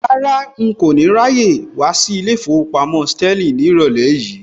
Rárá, n kò ní ráyè wá sí ilé ìfowópamọ́ Sterling ní ìrọ̀lẹ́ yìí